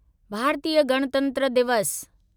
भारतीय गणतंत्र दिवस